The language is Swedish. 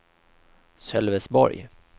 Sölvesborg